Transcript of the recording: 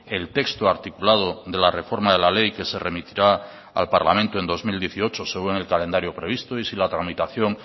el texto articulado de la reforma de la ley que se remitirá al parlamento en dos mil dieciocho según el calendario previsto y si la tramitación